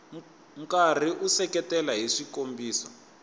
karhi u seketela hi swikombiso